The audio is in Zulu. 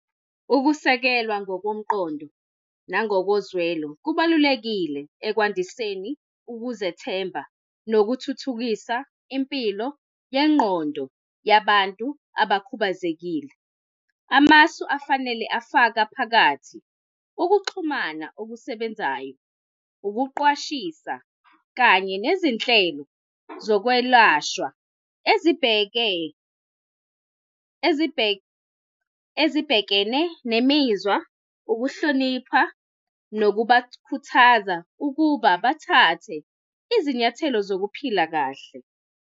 Ukusekelwa ngokomqondo nangokozwelo kubalulekile ekwandiseni ukuzethemba nokuthuthukisa impilo yengqondo yabantu abakhubazekile. Amasu afanele afaka phakathi ukuxhumana okusebenzayo, ukuqwashisa kanye nezinhlelo zokwelashwa ezibheke, ezibheke, ezibhekene nemizwa, ukuhlonipha nokubakhuthaza ukuba bathathe izinyathelo zokuphila kahle.